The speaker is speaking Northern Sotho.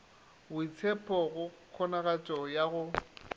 boitshepho go kgonagatšo ya go